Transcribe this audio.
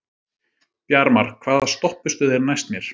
Bjarmar, hvaða stoppistöð er næst mér?